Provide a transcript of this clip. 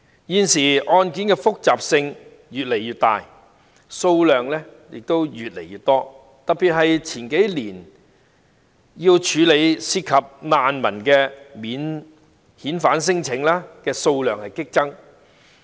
現時，案件的複雜性越來越大，數量亦越來越多，特別是數年前涉及難民的免遣返聲請的數量激增。